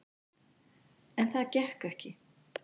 En það gekk ekki.